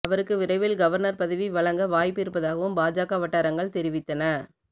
அவருக்கு விரைவில் கவர்னர் பதவி வழங்க வாய்ப்பு இருப்பதாகவும் பாஜக வட்டாரங்கள் தெரிவித்தன